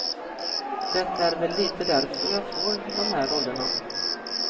Det är väl lite därför jag får de här rollerna.